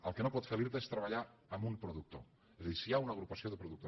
el que no pot fer l’irta és treballar amb un productor és a dir si hi ha una agrupació de productors